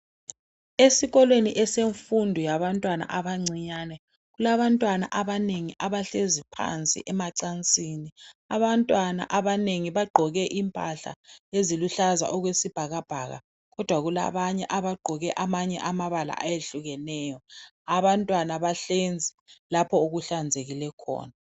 Esikolo esemfundo yabantwana abancane. Kulabantwana abanengi abahlezi phansi emacansini .Abantwana abanengi bagqoke impahla eziluhlaza okwesibhakabhaka kodwa kulabanye abagqoke amabala ayehlukeneyo. Abantwana bahlezi lapho okuhlanzeke khona .